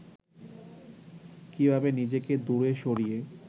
কীভাবে নিজেকে দূরে সরিয়ে